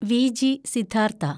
Viji Siddhartha